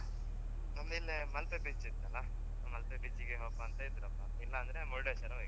ನಮ್ದ್ ಇಲ್ಲೇ ಮಲ್ಪೆ beach ಉಂಟಲ್ಲಾ ಮಲ್ಪೆ beach ಗೆ ಹೋಪಾ ಅಂತಿದ್ರಪ್ಪ ಇಲ್ಲಾಂದ್ರೆ ಮುರುಡೇಶ್ವರ ಹೊಯ್ಕ್.